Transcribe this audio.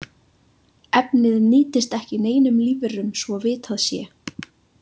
Efnið nýtist ekki neinum lífverum svo vitað sé.